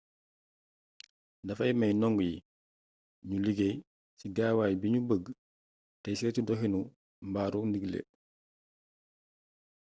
dafay mey ndongo yi nu liggéey ci gaawaay bi ñu bëgg te seytu doxinu xbaaru ndigle